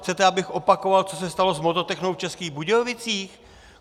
Chcete, abych opakoval, co se stalo s Vodotechnou v Českých Budějovicích?